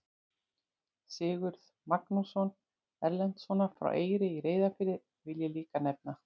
Sigurð Magnússon Erlendssonar frá Eyri í Reyðarfirði vil ég líka nefna.